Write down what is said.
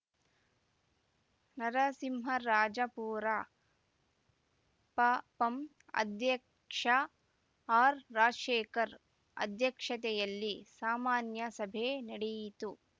ನರಸಿಂಹರಾಜಪುರ ಪಪಂ ಅಧ್ಯಕ್ಷ ಆರ್‌ರಾಜಶೇಖರ್‌ ಅಧ್ಯಕ್ಷತೆಯಲ್ಲಿ ಸಾಮಾನ್ಯ ಸಭೆ ನಡೆಯಿತು